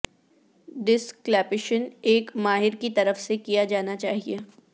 ڈس کلیپشن ایک ماہر کی طرف سے کیا جانا چاہئے